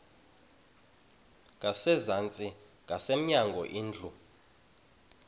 ngasezantsi ngasemnyango indlu